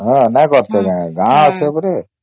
ହଁ ନାଇଁ କର୍ତେ କି ଗାଁ ଅଛି ପଡେ ଏପଟେ